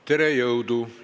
Tere, jõudu!